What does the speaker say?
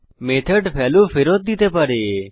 method value ফেরত দিতে পারে